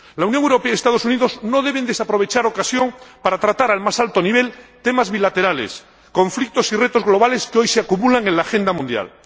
La Unión Europea y los Estados Unidos no deben desaprovechar ocasión para tratar al más alto nivel temas bilaterales, conflictos y retos globales que hoy se acumulan en la agenda mundial.